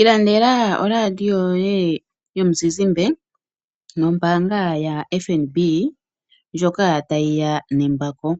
Ilandela radio yoye yomuzizimbe nombanga yaFNB ndjoka tayiya nembako.